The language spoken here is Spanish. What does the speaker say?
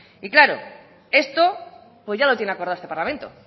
claro esto pues ya lo tiene acordado este parlamento